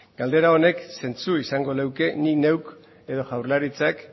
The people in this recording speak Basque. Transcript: galdera honek zentzu izango luke nik neuk edo jaurlaritzak